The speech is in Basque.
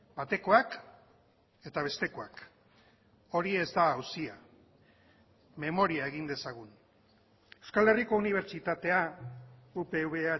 batekoak eta bestekoak hori ez da auzia memoria egin dezagun euskal herriko unibertsitatea upv